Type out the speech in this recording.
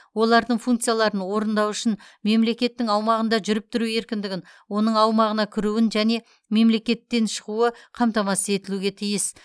олардың функцияларын орындау үшін мемлекеттің аумағында жүріп тұру еркіндігін оның аумағына кіруін және мемлекеттен шығуы қамтамасыз етілуге тиіс